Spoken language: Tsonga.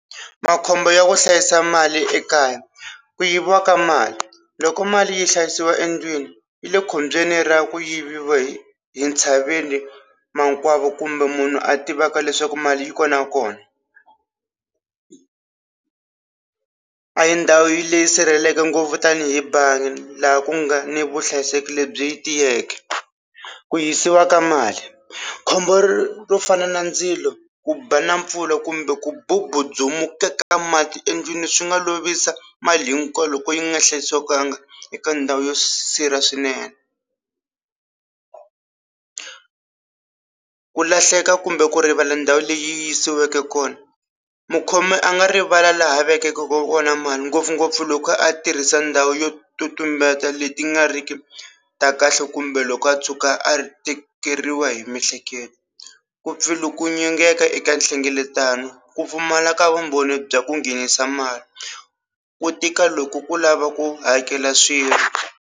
Makhombo ya ku hlayisa mali ekaya ku yiviwa ka mali loko mali yi hlayisiwa endlwini yi le khombyeni ra ku yiviwa hi hi ntshaveni makwavo kumbe munhu a tivaka leswaku mali yi kona kona a hi ndhawu yi leyi sirhelelekeke ngopfu tanihi bangi laha ku nga ni vuhlayiseki lebyi tiyeke ku hisiwa ka mali khombo ro fana na ndzilo ku ba na mpfula kumbe ku bubudzumeka ka mati endlwini swi nga lovisa mali hinkwayo loko yi nga hlayisekanga eka ndhawu yo swinene ku lahleka kumbe ku rivala ndhawu leyi yisiweke kona mukhomi a nga rivala laha vekeke kona mali ngopfungopfu loko a tirhisa ndhawu yo to tumbeta leti nga riki ta kahle kumbe loko a tshuka a ri tikeriwa hi miehleketo ku pfilunginyeka eka nhlengeletano ku pfumala ka vumbhoni bya ku nghenisa mali ku tika loko ku lava ku hakela swilo.